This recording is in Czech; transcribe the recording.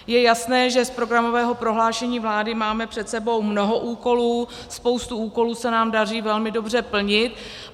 Je jasné, že z programového prohlášení vlády máme před sebou mnoho úkolů, spoustu úkolů se nám daří velmi dobře plnit.